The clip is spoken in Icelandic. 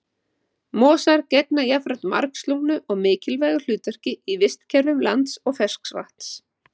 Mosar gegna jafnframt margslungnu og mikilvægu hlutverki í vistkerfum lands og ferskvatns.